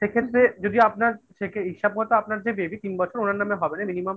সেক্ষেত্রে যদি আপনার হিসাব মতো আপনার যে baby তিন বছর ওনার নামে হবে না, minimum